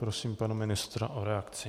Prosím pana ministra o reakci.